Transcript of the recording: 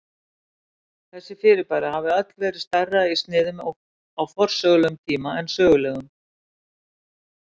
Þessi fyrirbæri hafa öll verið stærri í sniðum á forsögulegum tíma en sögulegum.